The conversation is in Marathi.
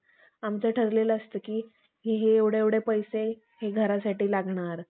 आमचं ठरलेलं असतं कि मग एवढे एवढे पैसे हे घरासाठी लागणार